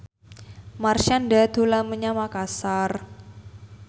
Marshanda dolan menyang Makasar